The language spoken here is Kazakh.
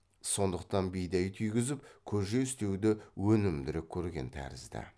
сондықтан бидай түйгізіп көже істеуді өнімдірек көрген тәрізді